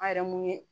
An yɛrɛ mun ye